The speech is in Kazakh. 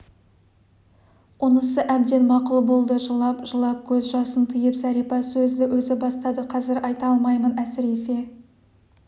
онысы әбден мақұл болды жылап-жылап көз жасын тыйып зәрипа сөзді өзі бастады қазір айта алмаймын әсіресе